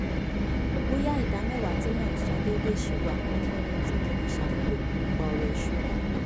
bóyá ìdàmẹ́wàá tí mò ń san déédéé ṣì wà nínú ohun tí mo le ṣàmúlò nipa ọ̀rọ̀ ìṣúnná